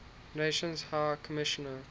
nations high commissioner